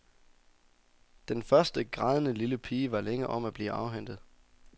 Den første, grædende lille pige var længe om at blive afhentet.